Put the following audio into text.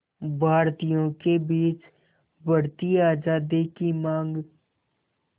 भारतीयों के बीच बढ़ती आज़ादी की मांग